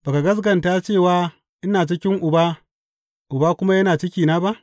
Ba ka gaskata cewa ina cikin Uba, Uba kuma yana cikina ba?